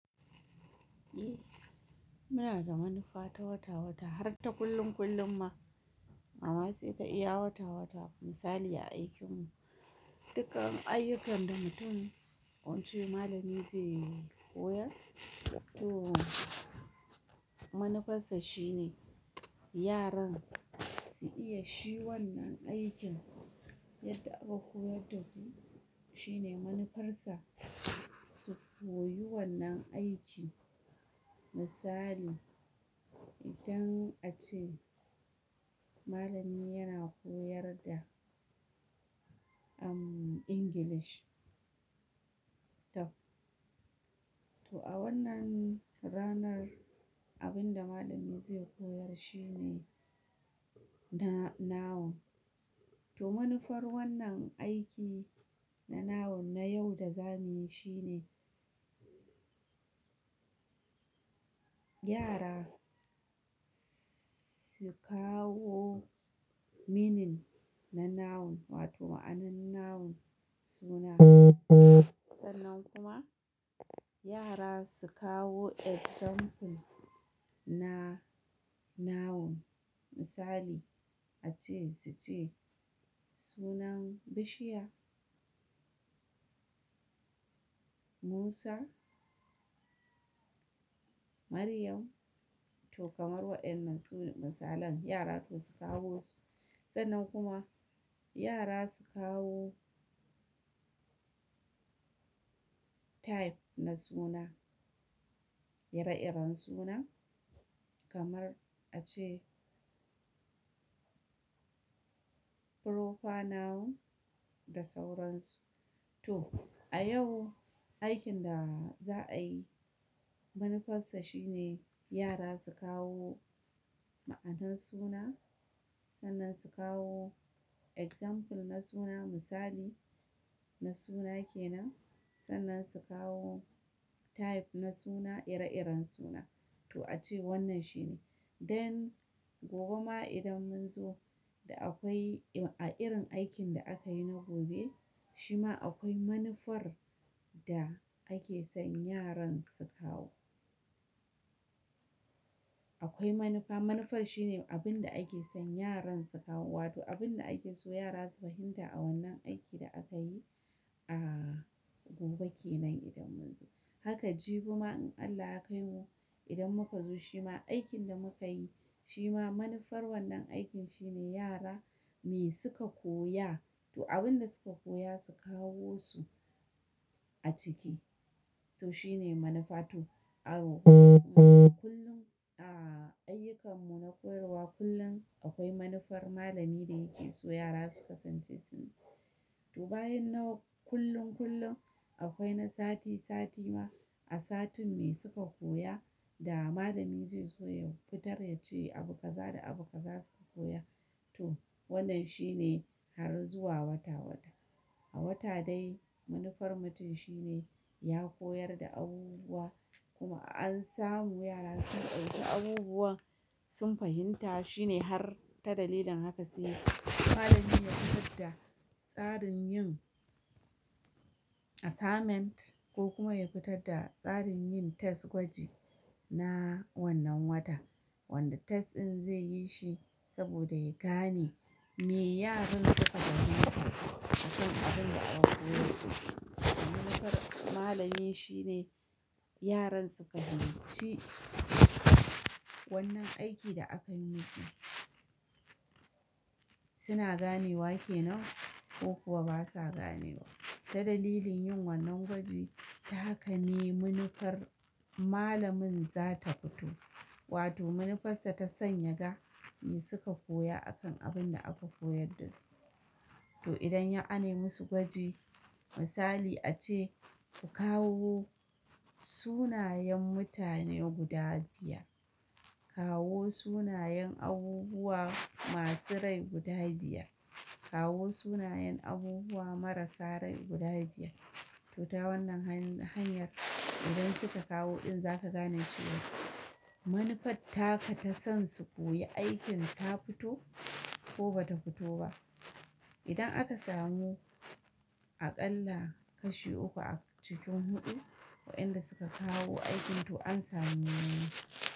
Eh, muna da manufa ta wata wata har ta kullum kullum ma. A wasu ite iya wata wata misali a aikin mu dukkan ayyukan da mutum wance malami zai koyar to manufarsa shine yaran su iya shi wannan aikin yadda aka koyar da su shine manufarsa su koyi wannan aiki. Misali idan ace malami yana koyar da umm English tab to a wannan ranar abin da malami zai koyar shine na-noun to manufar wannan aiki na noun na yau da za muyi shine yara su kawo meaning na noun wato ma'anar noun suna. Sannan kuma yara su kawo example na noun misali ace suce sunan bishiya, Musa, Maryam to kamar waɗannan su ne misalan yara su kawo su. Sannan kuma yara su kawo type na suna, ire-iren suna kamar ace proper noun da sauransu. To a yau aikin da za a yi manufarsa shine yara su kawo ma'anan suna sannan su kawo example na suna misali na suna kenan sannan su kawo type na suna ire-iren suna to ace wannan shine. Den gobe ma idan mun zo da akwai a irin aikin da aka yi na gobe shima akwai manufar da ake son yaran su kawo. Akwai manufa, manufar shine abin da ake son yaran su kawo wato abin da ake so yara su fahimta a wannan aikin da aka yi a gobe kenan idan mun zo. Haka jibi ma in Allah ya kaimu idan muka zo shima aikin da muka yi shima manufar wannan aikin shine yara me suka koya to abin da suka koya su kawo su a ciki to shine manufa to a kullum a ayyukan mu na koyarwa kullum akwai manufar malami da yake so yara su kasance su ne. To bayan na kullum kullum akwai na sati sati ma a satin me suka koya da malami zai so ya fitar ya ce abu kaza da abu kaza suka koya to wannan shine har zuwa wata wata. A wata dai manufar mutum shine ya koyar da abubuwa kuma an samu yara sun dauki abubuwan sun fahimta shine har ta dalilin haka sai malamin ya fitar da tsarin yin assignment ko kuma ya fitar da tsarin yin test gwaji na wannan wata. Wanda test in zai yi shi saboda ya gane me yaran suka gane akan abin da aka koyar da su. Manufar malamin shine yaran suka fahimci wannan aikin da aka yi su suna ganewa kenan ko kuwa basa ganewa. Ta dalilin yin wannan gwaji ta haka ne manufar malamin za ta fito wato manufarsa ta son ya ga me suka koya akan abin da aka koyar da su. To idan ya a ni musu gwaji misali ace ku kawo sunayen mutane guda biyar, kawo sunayen abubuwa masu rai guda biyar, kawo sunayen abubuwa marasa rai guda biyar. To ta wannan hanyar idan suka kawo in za ka gane cewa manufar taka ta son su koyi aikin ta fito ko bata fito ba. Idan aka samu aƙalla kashi uku a cikin huɗu waɗanda suka kawo aikin to an samu ni'a.